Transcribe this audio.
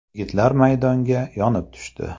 Yigitlar maydonga yonib tushdi.